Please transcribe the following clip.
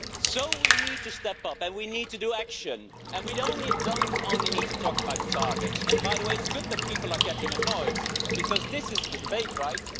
So we need to step up and we need to take action and we don't only need to talk about targets and by the way it's good that people are getting annoyed because this is the debate, right?